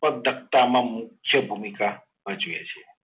ઉત્પત્તિઓમાં મુખ્ય ભૂમિકા ભજવે છે.